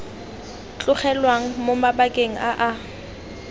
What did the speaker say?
tlogelwang mo mabakeng a a